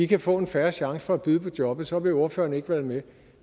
kan få en fair chance for at byde på jobbet så vil ordføreren ikke være med